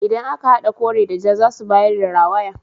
Idan aka hada kore da ja zasu bayar da rawaya.